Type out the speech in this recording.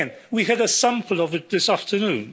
Again, we had a sample of it this afternoon.